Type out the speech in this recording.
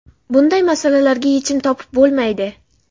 Bunday masalalarga yechim topib bo‘lmaydi.